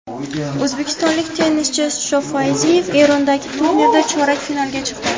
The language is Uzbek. O‘zbekistonlik tennischi Shofayziyev Erondagi turnirda chorak finalga chiqdi.